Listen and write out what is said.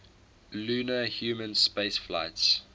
lunar human spaceflights